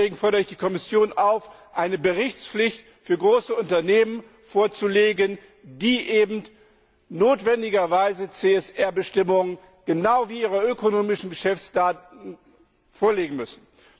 Deswegen fordere ich die Kommission auf, eine Berichtspflicht für große Unternehmen festzulegen, wonach sie verbindlich ihre CSR Bestimmungen genau wie ihre ökonomischen Geschäftsdaten vorlegen müssen.